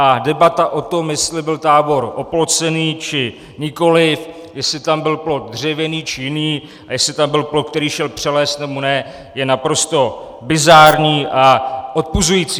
A debata o tom, jestli byl tábor oplocený, či nikoli, jestli tam byl plot dřevěný, či jiný a jestli tam byl plot, který šel přelézt, nebo ne, je naprosto bizarní a odpuzující.